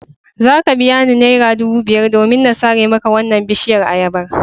Za ka biya ni naira dubu biyar domin na sare maka wannan bishiyar ayabar.